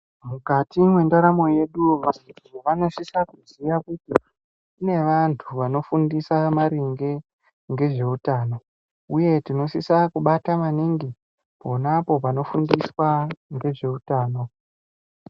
Mukati mwenharamo yedu vantu vanosisa kuziya kuti kune vantu vanofundisa maringe ngezveutano, uye tinosisa kubata maningi ponapo panofundiswa ngezveutano.